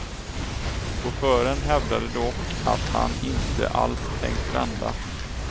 Chauffören hävdade dock att han inte alls tänkt vända.